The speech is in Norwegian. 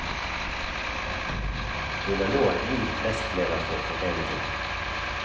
Hun er nå ny nestleder for foreningen.